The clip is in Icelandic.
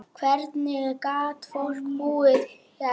Hvernig gat fólk búið hérna?